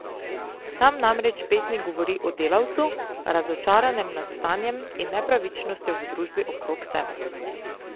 Tam namreč pesnik govori o delavcu, razočaranem nad stanjem in nepravičnostjo v družbi okrog sebe.